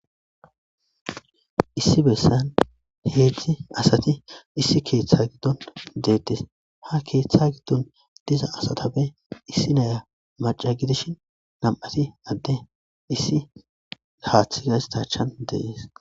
issi bessan heedzdzi asati issi keeththe giddon deettis ha keeththa giddon diza asatabe issi naya maca gidishin nam7ati adde issi gaathi gaystachan deees